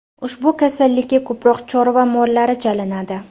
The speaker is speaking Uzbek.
Ushbu kasallikka ko‘proq chorva mollari chalinadi.